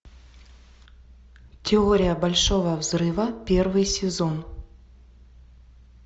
теория большого взрыва первый сезон